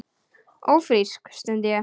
Ófrísk? stundi ég.